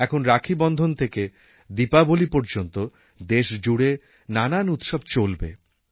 এখন রাখীবন্ধন থেকে দীপাবলী পর্যন্ত দেশজুড়ে নানান উৎসব চলবে